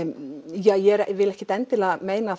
ég vil ekki endilega meina